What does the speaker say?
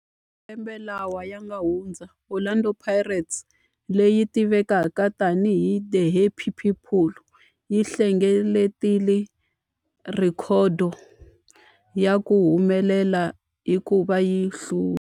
Malembe lawa yanga hundza, Orlando Pirates, leyi tivekaka tani hi 'The Happy People', yi hlengeletile rhekhodo ya ku humelela hikuva yi hlule.